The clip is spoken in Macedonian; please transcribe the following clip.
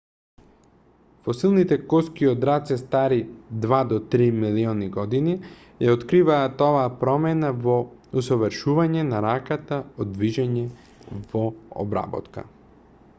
фосилните коски од раце стари два до три милиони години ја откриваат оваа промена во усовршување на раката од движење во обработка